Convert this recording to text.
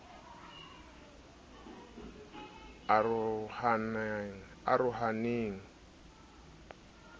arohaneng eo o ka e